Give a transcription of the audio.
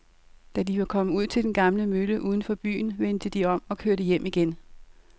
Da de var kommet ud til den gamle mølle uden for byen, vendte de om og kørte hjem igen.